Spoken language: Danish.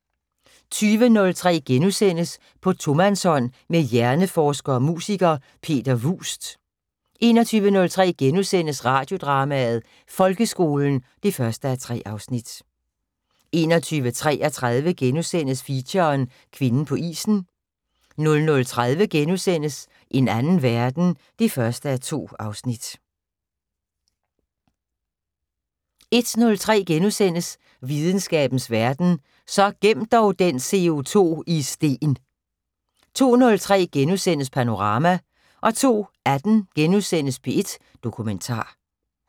20:03: På tomandshånd med hjerneforsker og musiker, Peter Vuust * 21:03: Radiodrama: Folkeskolen (1:3)* 21:33: Feature: Kvinden på isen * 00:30: En anden verden (1:2)* 01:03: Videnskabens Verden: Så gem dog den CO2 i sten * 02:03: Panorama * 02:18: P1 Dokumentar *